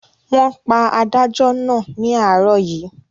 Wọ́n pa adájọ́ náà ní àárọ̀ yìí.